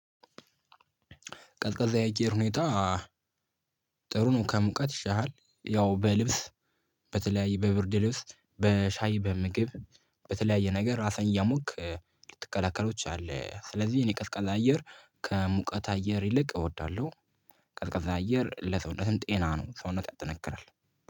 ቀዝቃዛ የአየር ሁኔታ ጥሩ ነው። ከሙቀት ይሻላል ያው በልብስ በተለያየ በብርድ ልብስ በሻይ በምግብ በተለያየ ነገር እራስህን እያሞክ ልትከላከለው ትችላለህ። ስለዚህ እኔ ቀዝቃዛ አየር ከሙቀት አየር ይልቅ እወዳለሁ። ቀዝቃዛ አየር ለሰውነትም ጤና ነው ሰውነት ያጠነክራል።